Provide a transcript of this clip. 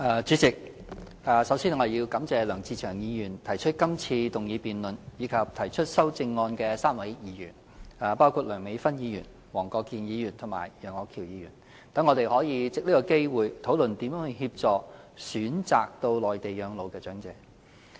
主席，首先，我感謝梁志祥議員提出這項議案，以及梁美芬議員、黃國健議員和楊岳橋議員3位議員提出修正案，讓我們可藉此機會討論如何協助選擇到內地養老的長者。